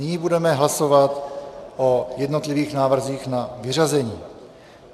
Nyní budeme hlasovat o jednotlivých návrzích na vyřazení.